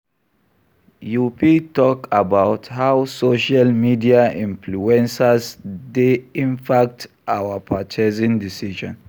You fit talk about how social media influencers dey impact our purchasing decisions.